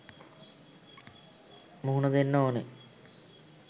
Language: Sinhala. මුහුණ දෙන්න ඕන.